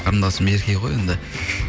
қарындасым ерке ғой енді